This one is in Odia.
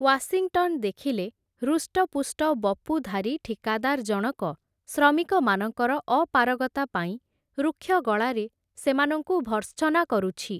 ୱାଶିଂଟନ୍ ଦେଖିଲେ ହୃଷ୍ଟପୁଷ୍ଟ ବପୁଧାରୀ ଠିକାଦାର୍ ଜଣକ ଶ୍ରମିକମାନଙ୍କର ଅପାରଗତା ପାଇଁ ରୁକ୍ଷ ଗଳାରେ ସେମାନଙ୍କୁ ଭର୍ତ୍ସନା କରୁଛି ।